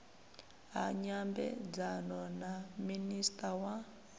ha nyambedzano na minista wa